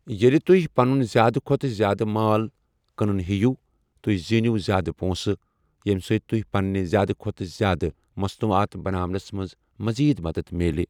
ییٚلہِ تُہہِ پَنُن زیادٕ کھۄتہٕ زیادٕ مال کٕنُن ہیٚیِو، تُہہِ زیٖنِو زیادٕ پونٛسہٕ، ییٚمہِ سۭتۍ تۄہہِ پَنٕنہِ زیادٕ کھۄتہٕ زیادٕ مصنوعات بناونس منٛز مٔزیٖد مَدتھ میلہِ۔